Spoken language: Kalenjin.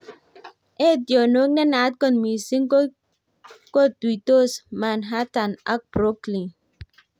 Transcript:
Etionotok nenaat kot mising kotuitos Manhattan ak Brooklyn